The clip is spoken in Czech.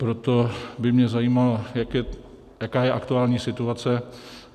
Proto by mě zajímalo, jaká je aktuální situace.